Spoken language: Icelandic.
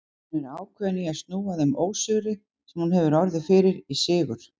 Hún er ákveðin í að snúa þeim ósigri, sem hún hefur orðið fyrir, í sigur.